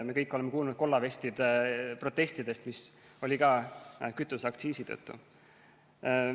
Me kõik oleme kuulnud kollavestide protestidest, mis oli ka kütuseaktsiisi tõttu.